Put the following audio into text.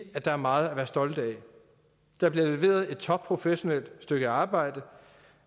at der er meget at være stolte af der bliver leveret et topprofessionelt stykke arbejde